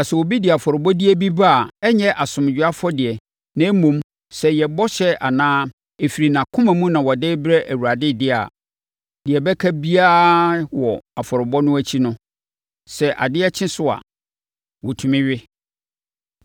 “ ‘Na sɛ obi de afɔrebɔdeɛ bi ba a ɛnyɛ asomdwoeɛ afɔdeɛ na mmom, sɛ ɛyɛ bɔhyɛ anaa ɛfiri nʼakoma mu na ɔde rebrɛ Awurade deɛ a, deɛ ɛbɛka biara wɔ afɔrebɔ no akyi no, sɛ adeɛ kye so a, wɔtumi we.